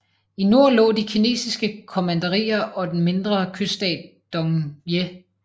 I nord lå de kinesiske kommanderier og den mindre kyststat Dongye